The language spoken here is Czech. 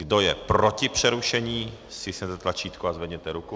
Kdo je proti přerušení, stiskněte tlačítko a zvedněte ruku.